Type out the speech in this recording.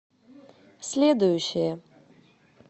следующая